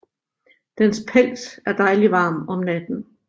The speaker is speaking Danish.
Dens pels er dejlig varm om natten